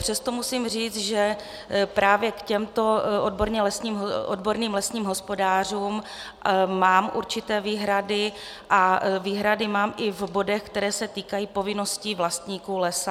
Přesto musím říct, že právě k těmto odborným lesním hospodářům mám určité výhrady a výhrady mám i v bodech, které se týkají povinností vlastníků lesa.